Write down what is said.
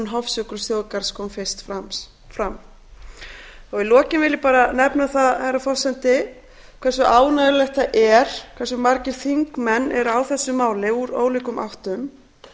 hofsjökulsþjóðgarðs kom fyrst fram í lokin vil ég bara nefna það herra forseti hversu ánægjulegt það er hversu margir þingmenn eru á þessu máli úr ólíkum áttum